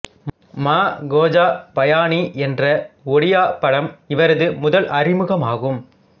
மா கோஜா பயானி என்ற ஒடியா படம் இவரது முதல் அறிமுகமாகும்